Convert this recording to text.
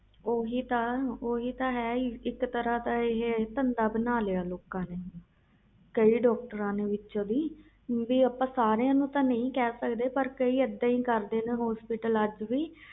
ਓਹੀ ਤਾ ਹੈ ਇਕ ਤਰਾਂ ਦਾ ਧੰਦਾ ਬਣਾ ਲਿਆ ਸੀ ਕਈ ਡਾਕਟਰ ਨੇ ਆਪਾ ਸਬ ਨੂੰ ਨਹੀਂ ਕਹਿ ਸਕਦੇ ਪਰ ਕਈ ਇਹਦਾ ਹੀ ਕਰਦੇ ਹਸਪਤਾਲ ਵਾਲੇ